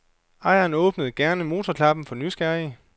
Ejeren åbner gerne motorklappen for nysgerrige.